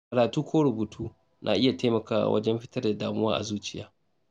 Karatu ko rubutu na iya taimakawa wajen fitar da damuwa a zuciya.